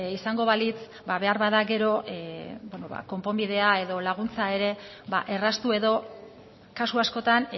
izango balitz beharbada gero konponbidea edo laguntza ere erraztu edo kasu askotan